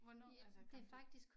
Hvornår altså kom du